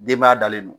Denba dalen don